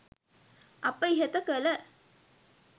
අප ඉහත කළ